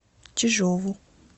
чижову